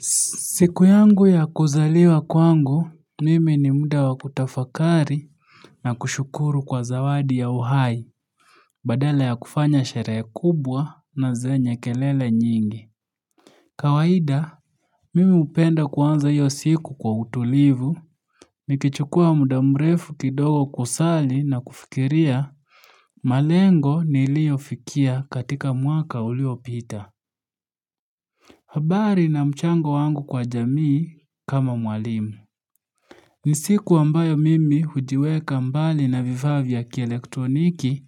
Siku yangu ya kuzaliwa kwangu, mimi ni muda wakutafakari na kushukuru kwa zawadi ya uhai badala ya kufanya sherehe kubwa na zenye kelele nyingi. Kawaida, mimi hupenda kuanza hio siku kwa utulivu, nikichukua muda mrefu kidogo kusali na kufikiria malengo niliofikia katika mwaka uliopita. Habari na mchango wangu kwa jamii kama mwalimu. Nisiku ambayo mimi hujiweka mbali na vifaa vya kielektroniki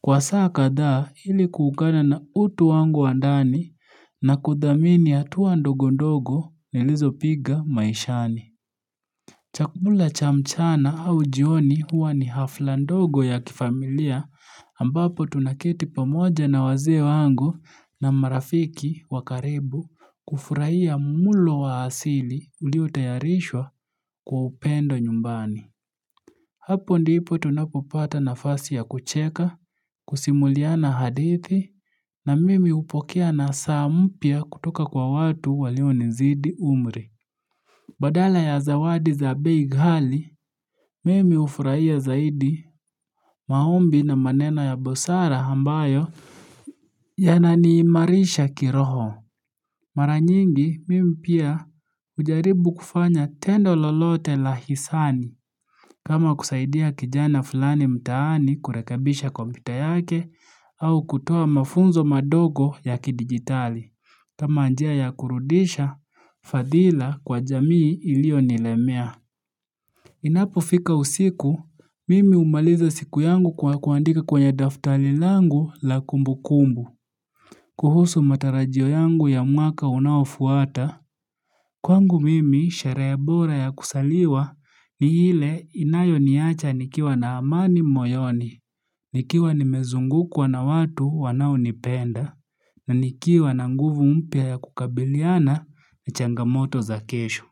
kwa saa kadhaa ili kuungana na utu wangu wa ndani na kudhamini hatua ndogo ndogo nilizo piga maishani. Chakula cha mchana au jioni huwa ni hafla ndogo ya kifamilia ambapo tunaketi pamoja na wazee wangu na marafiki wakaribu kufurahia mulo wa asili uliotayarishwa kwa upendo nyumbani. Hapo ndipo tunapopata nafasi ya kucheka, kusimuliana hadithi na mimi hupokea nasaa mpya kutoka kwa watu walionizidi umri. Badala ya zawadi za bei ghali, mimi hufurahia zaidi maombi na maneno ya busara ambayo ya naniimarisha kiroho. Mara nyingi, mimi pia hujaribu kufanya tendo lolote la hisani kama kusaidia kijana fulani mtaani kurekabisha kompyuta yake au kutoa mafunzo madogo ya kidigitali. Kama njia ya kurudisha fadhila kwa jamii iliyonilemea. Inapo fika usiku, mimi humaliza siku yangu kwa kuandika kwenye daftali langu la kumbu kumbu. Kuhusu matarajio yangu ya mwaka unaofuata, kwangu mimi sherehe bora ya kuzaliwa ni ile inayoniacha nikiwa na amani moyoni, nikiwa nimezungukuwa na watu wanao nipenda, na nikiwa na nguvu mpya ya kukabiliana na changamoto za kesho.